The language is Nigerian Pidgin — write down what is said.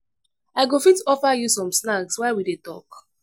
i i go fit offer you some snacks while we dey talk.